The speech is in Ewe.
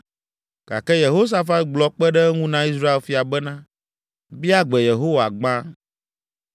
Gake Yehosafat gblɔ kpe ɖe eŋu na Israel fia bena “Bia gbe Yehowa gbã.”